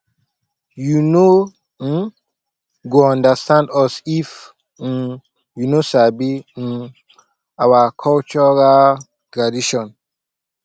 you no um go understand us if um you no sabi um our cultural tradition